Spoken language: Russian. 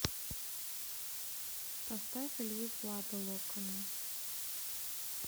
поставь илью пладо локоны